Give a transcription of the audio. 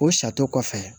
O sato kɔfɛ